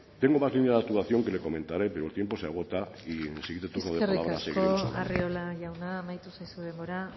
tengo más líneas de actuación que le comentaré pero el tiempo se agota y en mi siguiente turno ya seguiremos hablando eskerrik asko arriola jauna amaitu zaizu denbora